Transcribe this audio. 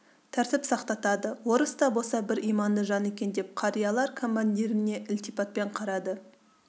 тәртіп сақтатады орыс та болса бір иманды жан екен деп қариялар командиріне ілтипатпен қарады